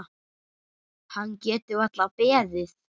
Hann getur varla beðið.